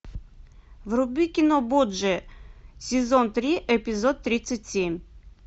вруби кино борджиа сезон три эпизод тридцать семь